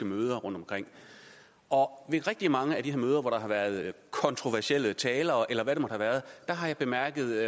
møder rundtomkring og ved rigtig mange af de her møder hvor der har været kontroversielle talere eller hvad det nu har været har jeg bemærket